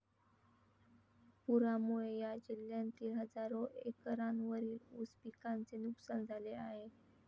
पुरामुळे या जिल्ह्यांतील हजारो एकरांवरील उस पिकांचे नुकसान झाले आहे.